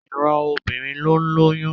Ìran obìnrin ní ń lóyún